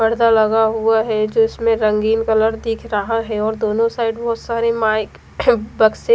पर्दा लगा हुआ है जो इसमें रंगीन कलर दिख रहा है और दोनों साइड बोहोत सारे माइक बक्से--